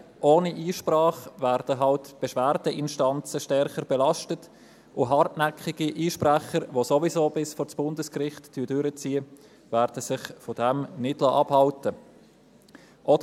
Ohne Einsprache werden die Beschwerdeinstanzen nun mal stärker belastet, und hartnäckige Einsprecher, die ihr Anliegen ohnehin bis vor Bundesgericht durchziehen, werden sich davon nicht abhalten lassen.